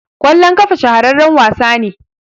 kwalllon kafa shahararren wasa ne